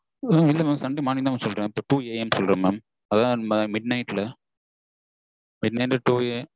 இல்ல mam sunday morning தான் ma'am two AM சொல்ற mam அதாவது midnight ல